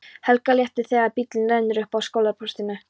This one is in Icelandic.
Helga léttir þegar bíllinn rennur upp að skólaportinu.